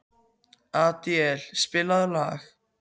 Adíel, spilaðu lag.